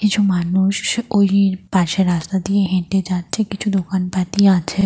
কিছু মানুষ ওই পাশের রাস্তা দিয়ে হেটে যাচ্ছে। কিছু দোকানপাতি আছে।